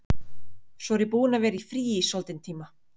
Svo ég er búin að vera í fríi í soldinn tíma.